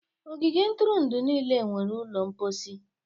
Ogige ntụrụndụ niile nwere ụlọ mposi.